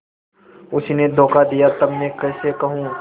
उसी ने धोखा दिया तब मैं कैसे कहूँ